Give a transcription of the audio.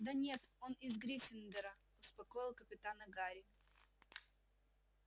да нет он из гриффиндора успокоил капитана гарри